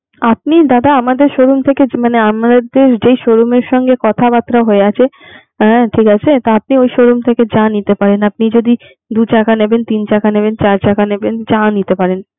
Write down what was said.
আপনি দাদা আমাদের showroom থেকে মানে আমাদের যে showroom এর সাথে কথাবার্তা হয়ে আছে হ্যা ঠিক আছে? তা আপনি ওই showroom থেকে যা নিতে পারেন আপনি যদি দু চাকা নেবেন তিন চাকা নেবেন চার চাকা নেবেন যা নিতে পারেন.